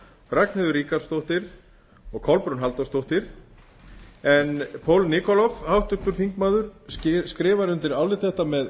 ragnheiður ríkharðsdóttir og kolbrún halldórsdóttir paul nikolov skrifar undir álit þetta með